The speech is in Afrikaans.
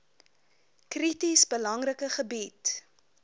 krities belangrike gebied